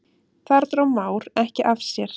Þar dró Már ekki af sér.